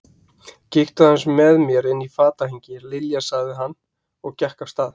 Kíktu aðeins með mér inn í fatahengi, Lilja sagði hann og gekk af stað.